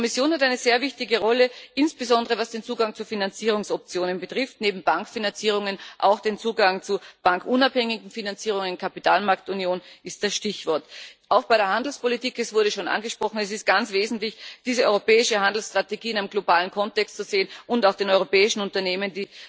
Die Kommission hat eine sehr wichtige Rolle, insbesondere was den Zugang zu Finanzierungsoptionen betrifft, neben Bankfinanzierungen auch den Zugang zu bankunabhängigen Finanzierungen Kapitalmarktunion ist das Stichwort. Auch bei der Handelspolitik es wurde schon angesprochen ist es ganz wesentlich, diese europäische Handelsstrategie in einem globalen Kontext zu sehen und auch den europäischen Unternehmen